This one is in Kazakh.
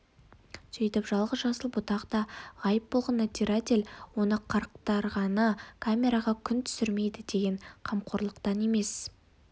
сөйтіп жалғыз жасыл бұтақ та ғайып болған надзиратель оны қырықтырғаны камераға күн түсірмейді деген қамқорлықтан емес